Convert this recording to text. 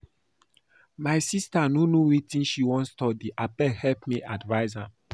My sister no know wetin she wan study abeg help me advice am